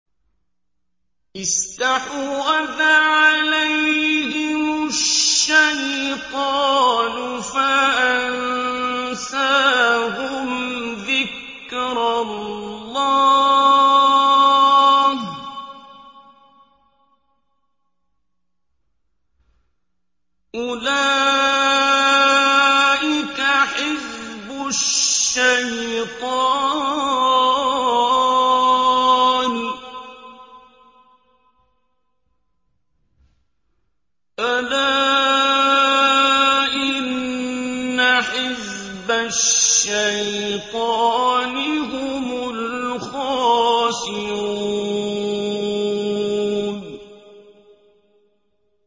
اسْتَحْوَذَ عَلَيْهِمُ الشَّيْطَانُ فَأَنسَاهُمْ ذِكْرَ اللَّهِ ۚ أُولَٰئِكَ حِزْبُ الشَّيْطَانِ ۚ أَلَا إِنَّ حِزْبَ الشَّيْطَانِ هُمُ الْخَاسِرُونَ